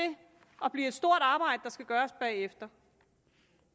at blive et stort arbejde der skal gøres bagefter